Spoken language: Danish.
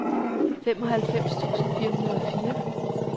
femoghalvfems tusind fire hundrede og fire